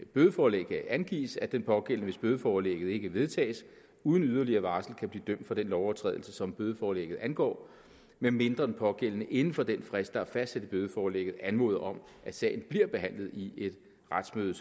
bødeforlægget angives at den pågældende hvis bødeforlægget ikke vedtages uden yderligere varsel kan blive dømt for den lovovertrædelse som bødeforlægget angår medmindre den pågældende inden for den frist der er fastsat i bødeforlægget anmoder om at sagen bliver behandlet i et retsmøde